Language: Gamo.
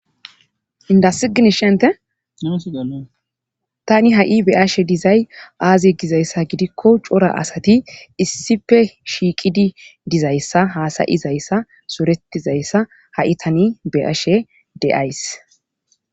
Indassi gini shente tani ha,i be ashe dizay aaze gizayssa gidikko cora asati issife shiiqidi dizayssa haasayizayssa soretizayssa ha,i tani beashe deays.